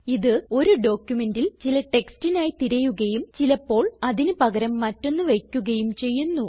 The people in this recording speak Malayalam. ഇത് ഒരു ഡോക്യുമെന്റിൽ ചില ടെക്സ്റ്റിനായി തിരയുകയും ചിലപ്പോൾ അതിന് പകരം മറ്റൊന്ന് വയ്ക്കുകയും ചെയ്യുന്നു